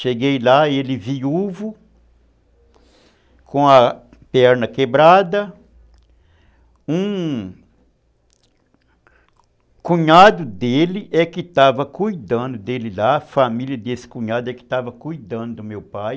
Cheguei lá, ele viúvo, com a perna quebrada, um cunhado dele é que estava cuidando dele lá, a família desse cunhado é que estava cuidando do meu pai.